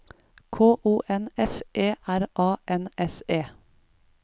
K O N F E R A N S E